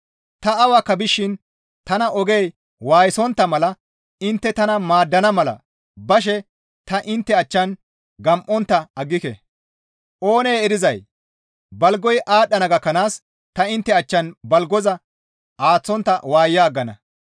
Ta awakka bishin tana ogey waayisontta mala intte tana maaddana mala bashe ta intte achchan gam7ontta aggike. Oonee erizay balgoy aadhdhana gakkanaas ta intte achchan balgoza aaththontta waaya aggana.